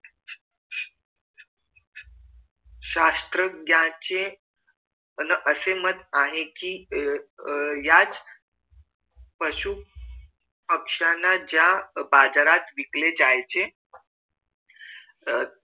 शास्त्रज्ञाचे अह असे मत आहे कि अह कि याच पशु पक्ष्याना ज्या बाजारात विकले जायचे आह